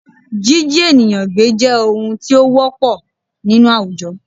Jíjí ènìyàn gbé jẹ́ ohun tí ó ti wọ́pọl nínú àwùjọ